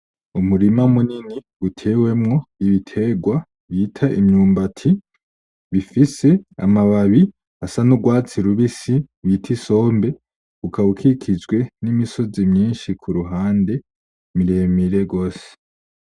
Umurima munini utewemwo ibitegwa bita imyumbati bifise amababi asa n'urwatsi rubisi bita isombe, ukaba ukikijwe n'imisozi myinshi ku ruhande, mire mire gose.